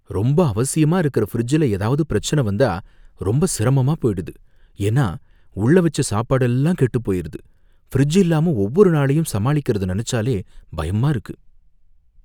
ரொம்ப அவசியமா இருக்கற ஃபிரிட்ஜ்ல எதாவது பிரச்சன வந்தா ரொம்ப சிரமமா போயிடுது, ஏன்னா உள்ள வச்ச சாப்பாடெல்லாம் கேட்டுபோயிருது, ஃபிரிட்ஜ் இல்லாம ஒவ்வொரு நாளையும் சமாளிக்கறத நெனைச்சாலே பயமா இருக்கு.